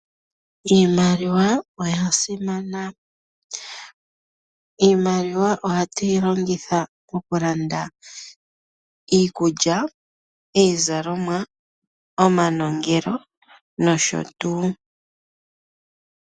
Iimaliwa oyasimana. Iimaliwa oha tu yi longitha moku landa iikulya, iizalomwa, omanongelo nosho tuu.